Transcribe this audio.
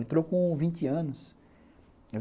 Entrou com vinte anos.